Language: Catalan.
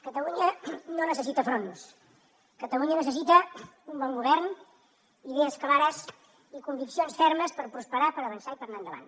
catalunya no necessita fronts catalunya necessita un bon govern idees clares i conviccions fermes per prosperar per avançar i per anar endavant